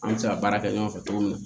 An bɛ se ka baara kɛ ɲɔgɔn fɛ cogo min na